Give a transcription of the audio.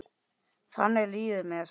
Þannig líður mér.